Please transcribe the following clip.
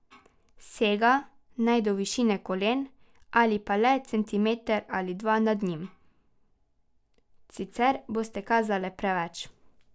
Sega naj do višine kolen ali pa le centimeter ali dva nad njimi, sicer boste kazale preveč.